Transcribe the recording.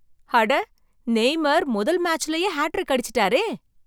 அட! நெய்மார் முதல் மேட்ச்லே ஹார்ட்ரிக் அடிச்சுட்டாரே.